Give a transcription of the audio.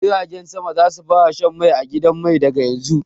Jiragen sama za su fara shan mai a gidan mai daga yanzu.